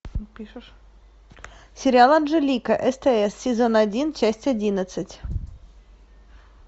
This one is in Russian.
сериал анжелика стс сезон один часть одиннадцать